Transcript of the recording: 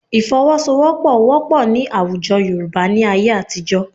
Ìfọwọ́sowọ́pọ̀ wọ́pọ̀ ní àwùjọ Yorùbá ní ayé àtijọ́